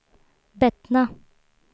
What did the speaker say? Bettna